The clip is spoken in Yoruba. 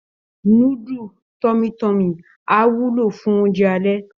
Núdù tọmi tọ́mì á wúlò fún oúnjẹ alẹ́